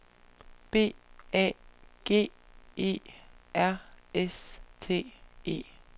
B A G E R S T E